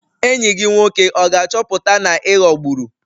Enyi gị nwoke ọ ga-achọpụta na ị ghọgburu?